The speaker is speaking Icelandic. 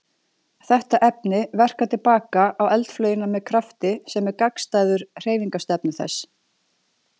Þetta efni verkar til baka á eldflaugina með krafti sem er gagnstæður hreyfingarstefnu þess.